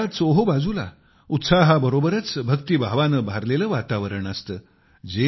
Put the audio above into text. या काळात चोहोबाजूला उत्साहाबरोबरच भक्तिभावाने भारलेले वातावरण असते